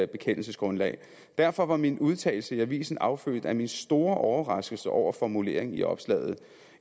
bekendelsesgrundlag derfor var min udtalelse i avisen affødt af min store overraskelse over formuleringen i opslaget